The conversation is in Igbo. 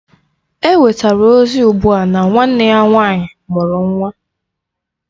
Enwetara ozi ugbua na nwanne ya nwanyị mụrụ nwa